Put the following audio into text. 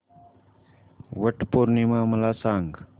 वट पौर्णिमा मला सांग